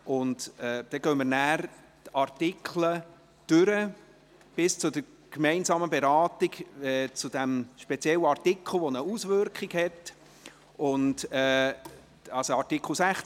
Danach gehen wir die Artikel einzeln durch, bis zur gemeinsamen Beratung dieses speziellen Artikels 16, der eine Auswirkung auf das SAFG hat.